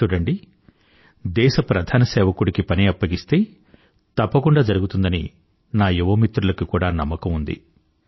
చూడండి దేశ ప్రధాన సేవకుడికి పని అప్పగిస్తే తప్పకుండా జరుగుతుందని నా యువ మిత్రులకి కూడా నమ్మకం ఉంది